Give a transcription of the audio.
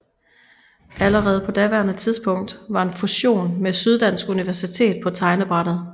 Allerede på daværende tidspunkt var en fusion med Syddansk Universitet på tegnebrættet